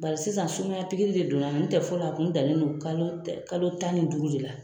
sisan sumaya de donna n tɛ fɔlɔ a tun dalen don kalo tan ni duuru de la.